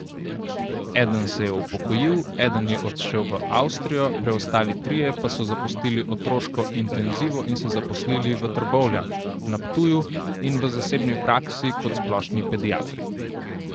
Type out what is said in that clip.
Eden se je upokojil, eden je odšel v Avstrijo, preostali trije pa so zapustili otroško intenzivo in se zaposlili v Trbovljah, na Ptuju in v zasebni praksi kot splošni pediatri.